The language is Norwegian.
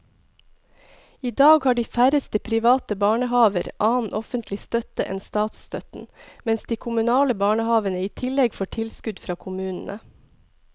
I dag har de færreste private barnehaver annen offentlig støtte enn statsstøtten, mens de kommunale barnehavene i tillegg får tilskudd fra kommunene.